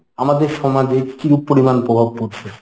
আমাদের সমাজে কিরুপ পরিমাণ প্রভাব পড়ছে?